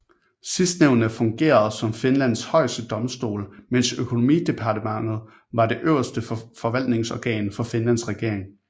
Sidstnævnte fungerede som Finlands højeste domstol mens økonomidepartementet var det øverste forvaltningsorgan for Finlands regering